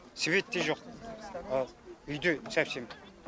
свет те жоқ ал үйде сәпсем